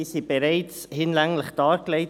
Diese wurden bereits hinlänglich dargelegt.